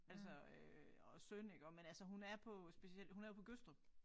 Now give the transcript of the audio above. Altså øh og synd iggå men altså hun er på speciel hun er jo på Gødstrup